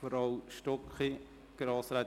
– Grossrätin Stucki, Sie haben das Wort.